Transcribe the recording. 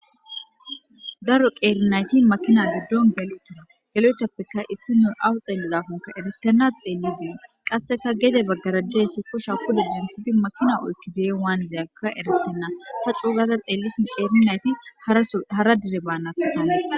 Daro qeerinayti makina giddon gel7otida gelotappeka issi no awu xeellizafonka eretena xeelli diye qasseka gede baggarajjeyssi kosha kude dinthidi makina oykkizee waanideyaka eretenna ta coogaza xeellisi qeerinayti hara dire baanatti hane.